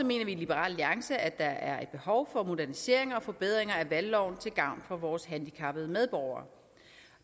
mener vi i liberal alliance at der er et behov for modernisering og forbedring af valgloven til gavn for vores handicappede medborgere